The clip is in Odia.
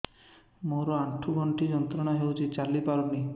ମୋରୋ ଆଣ୍ଠୁଗଣ୍ଠି ଯନ୍ତ୍ରଣା ହଉଚି ଚାଲିପାରୁନାହିଁ